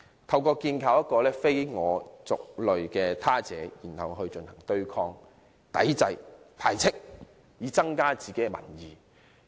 建構了這個非我族類的他者後，民粹主義者會對其進行對抗、抵制、排斥，以增加自己的民意。